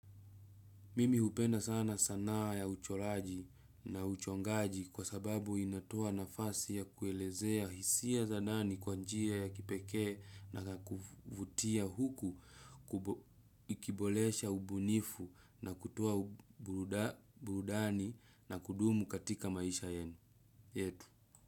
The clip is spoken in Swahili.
Mimi hupenda sana sanaa ya ucholaji na uchongaji kwa sababu inatoa nafasi ya kuelezea hisia za ndani kwanjia ya kipeke na kukivutia huku kubolesha ubunifu na kutoa burudani na kudumu katika maisha yenu.